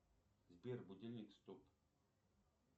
сбер будильник стоп